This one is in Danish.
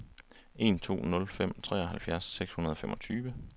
en to nul fem treoghalvfjerds seks hundrede og femogtyve